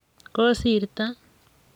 Kosirto?